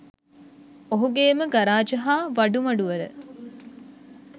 ඔහුගේම garage හා වඩුමඩුවල